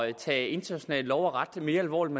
at tage international lov og ret mere alvorligt